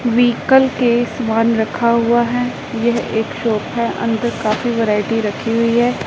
Vehicle के समान रखा हुआ हैं यह एक सोफा है अंदर काफी वैरायटी रखी हुईं हैं।